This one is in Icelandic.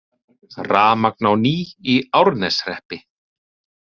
Rafmagn á ný í Árneshreppi